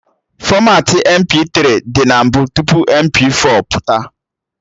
Fọmatị MP3 dị na mbụ tupu MP4 pụta